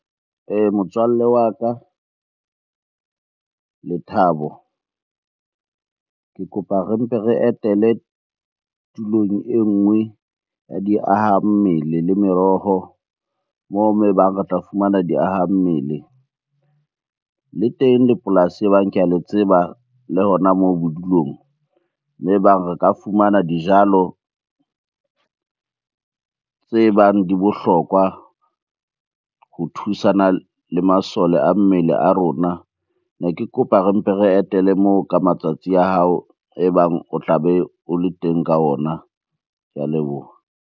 Motswalle wa ka Lethabo. Ke kopa re mpe re etele tulong enngwe ya diaha mmele le meroho. Moo-moo e bang re tla fumana diaha mmele, le teng le polasi e bang ke a le tseba le hona moo bodulong e bang re ka fumana dijalo tse bang di bohlokwa ho thusana le masole a mmele a rona. Ne ke kopa re mpe re etele moo ka matsatsi a hao e bang o tlabe o le teng ka ona. Ke a leboha.